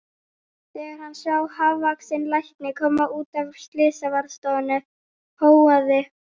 Þegar hann sá hávaxinn lækni koma út af slysavarðstofunni hóaði